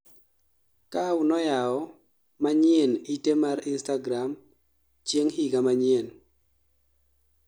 Kaw noyao manyien ite mar instagra chieng' higa manyien